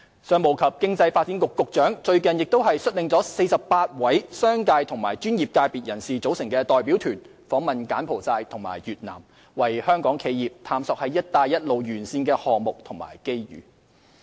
商務及經濟發展局局長最近亦率領了一個由48位商界和專業界別人士組成的代表團訪問柬埔寨和越南，為香港企業探索"一帶一路"沿線的項目和機遇。